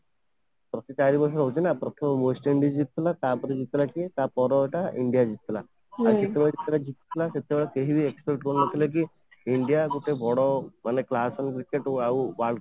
ପ୍ରତି ଚାରି ବର୍ଷ ରେ ହଉଛି ନା ପ୍ରଥମେ West Indies ଜିତିଥିଲା ତାପରେ ଜିତିଥିଲା କିଏ ତାପରେ ଏଇଟା india ଜିତିଥିଲା ଆଉ ଯେତେବେଳେ ଜିତିଥିଲେ ସେତେବଳେ କେହି expect ବି କରିପାରୁନଥିଲେ କି india ଏତେ ବଡ ମାନେ platform ଜିତିବାକୁ ଆଉ